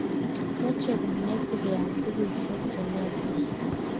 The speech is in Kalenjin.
moche kanetik keal bukuisiek che lelach